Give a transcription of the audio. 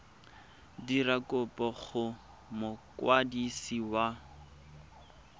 dira kopo go mokwadisi wa